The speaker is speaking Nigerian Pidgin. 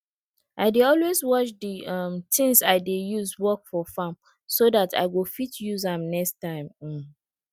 i dey always wash di um tins i dey use work for farm so dat i go fit use am next time um